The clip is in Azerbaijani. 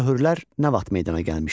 Möhürlər nə vaxt meydana gəlmişdi?